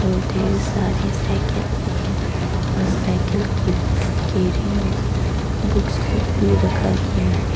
और ढ़ेर सारी साइकिल भी है और साइकिल की केरी में बुक्स लोग भी रखा गया है।